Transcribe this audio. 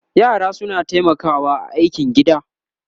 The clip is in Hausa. yara suna taimakawa a aikin gida